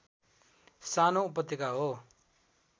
सानो उपत्यका हो